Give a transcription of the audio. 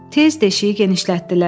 Tez deşiyi genişlətdilər.